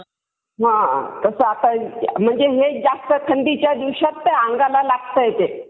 अ तसं आता म्हणजे वेज जास्त थंडीच्या दिवसात अंगाला लागतंय ते.